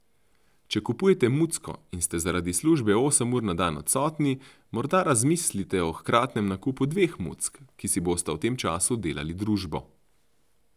Če kupujete mucko in ste zaradi službe osem ur na dan odsotni, morda razmislite o hkratnem nakupu dveh muck, ki si bosta v tem času delali družbo ...